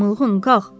Mılğın, qalx.